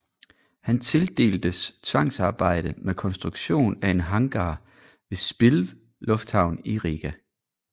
Han tildeltes tvangsarbejde med konstruktion af en hangar ved Spilve Lufthavn i Riga